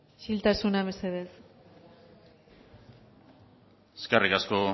isiltasuna mesedez eskerrik asko